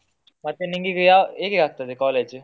ಮತ್ತೆ ನಿಂಗೆ ಈಗ ಯಾವ್ ಹೇಗೆ ಆಗ್ತದೆ college ?